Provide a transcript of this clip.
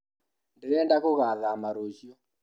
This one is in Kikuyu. Ndĩrenda gũgathama rũciũ